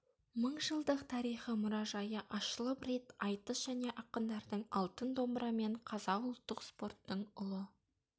мыңжылдық тарихы мұражайы ашылып рет айтыс және ақындардың алтын домбыра мен қазақ ұлттық спорттың ұлы